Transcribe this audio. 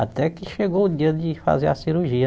Até que chegou o dia de fazer a cirurgia.